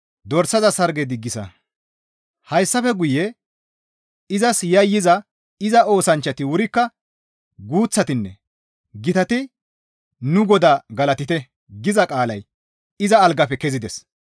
Hessafe guye, «Izas yayyiza iza oosanchchati wurikka guuththatinne gitati nu Godaa galatite» giza qaalay iza algaafe kezides.